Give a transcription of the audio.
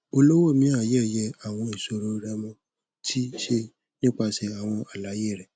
olówó miayeye awọn iṣoro rẹmo ti ṣe nipasẹ awọn alaye rẹ